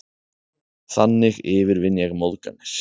Þannig yfirvinn ég móðganir.